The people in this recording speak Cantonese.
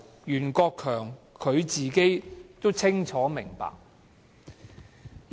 袁國強本身清楚明白這一點。